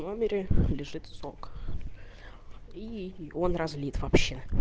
номере лежит сок и он развит вообще